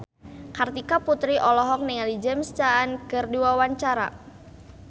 Kartika Putri olohok ningali James Caan keur diwawancara